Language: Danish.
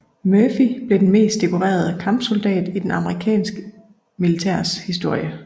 Murphy blev den mest dekorerede kampsoldat i det amerikanske militærs historie